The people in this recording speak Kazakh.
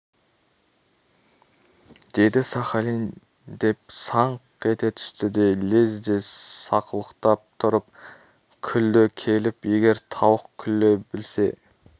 деді сахалин деп саңқ ете түсті де лезде сақылықтап тұрып күлді келіп егер тауық күле білсе